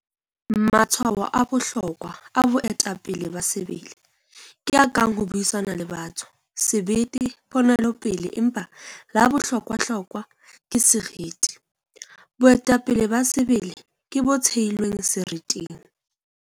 Matshwao a bohlokwa, a boetapele ba sebele, ke a kang ho buisana le batho, sebete, ponelopele empa la bohlokwahlokwa ke seriti. Boetapele ba sebele ke bo theilweng seriting.